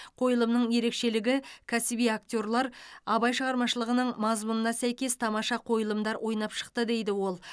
қойылымның ерекшелігі кәсіби актерлер абай шығармашылығының мазмұнына сәйкес тамаша қойылымдар ойнап шықты дейді ол